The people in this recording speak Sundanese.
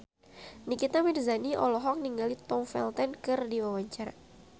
Nikita Mirzani olohok ningali Tom Felton keur diwawancara